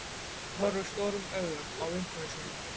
Agnes horfir stórum augum á vinkonu sína.